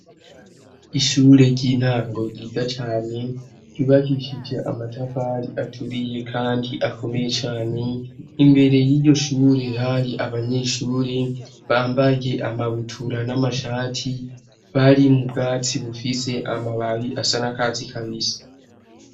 Ishure ry'intango ryiza cane ryubagishije amatafari aturiye, kandi akomeye cane imbere y'iyo shure hari abanyeshure bambaye amabutura n'amashati bari mu bwatsi bufise amababi asa n'akazi kabisa.